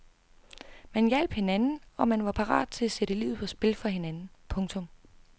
Man hjalp hinanden og man var parat til at sætte livet på spil for hinanden. punktum